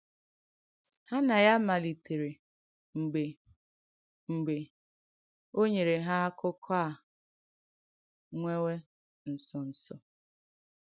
Ha nà ya malìtèrè mgbe mgbe ò nyèrè ha àkụ̀kọ̀ à nwèwè ǹsọ̀ǹsọ̀.